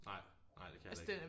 Nej nej dte kan jeg heller ikke